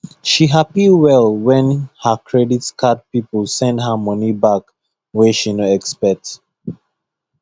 she happy well when her credit card people send her money back wey she no expect